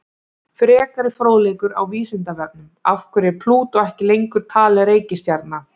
Frekari fróðleikur á Vísindavefnum: Af hverju er Plútó ekki lengur talin reikistjarna?